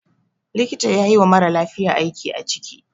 Likta yayi wa maralafiya aiki a ciki